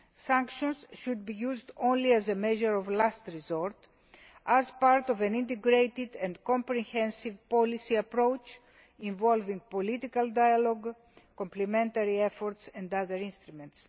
Sanctions should be used only as a measure of last resort as part of an integrated and comprehensive policy approach involving political dialogue, complementary efforts and other instruments.